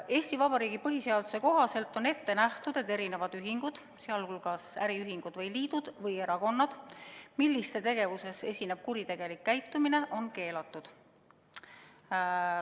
Eesti Vabariigi põhiseaduse kohaselt on ette nähtud, et igasugused ühingud ja liidud, sh äriühingud ja erakonnad, mille tegevuses esineb kuritegelik käitumine, on keelatud.